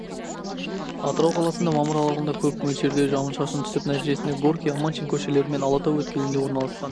атырау қаласында мамыр аралығында көп мөлшерде жауын-шашын түсіп нәтижесінде горький аманшин көшелері мен алатау өткелінде орналасқан